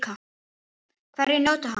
Hverjir njóta hans?